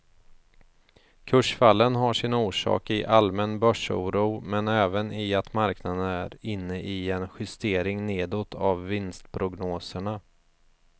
Kursfallen har sin orsak i allmän börsoro men även i att marknaden är inne i en justering nedåt av vinstprognoserna.